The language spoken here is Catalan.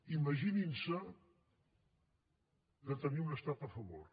imaginin se de tenir un estat a favor